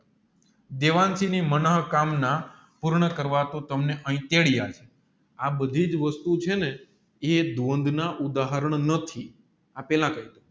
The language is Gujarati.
મનોહ કામ ના પૂર્ણ કરવાતું તમને હિતેડીયા આ બધીજ વસ્તુ છેને એ ઉધારણ નથી